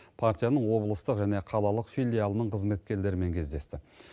партияның облыстық және қалалық филиалының қызметкерлерімен кездесті